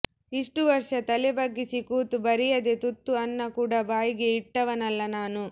ಇಷ್ಟೂ ವರ್ಷ ತಲೆ ಬಗ್ಗಿಸಿ ಕೂತು ಬರೆಯದೆ ತುತ್ತು ಅನ್ನ ಕೂಡ ಬಾಯಿಗೆ ಇಟ್ಟವನಲ್ಲ ನಾನು